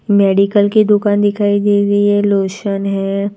Medical की दुकान दिखाई दे रही है लोशन है।